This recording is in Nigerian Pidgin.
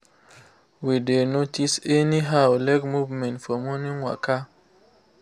we dey notice anyhow leg movement for morning waka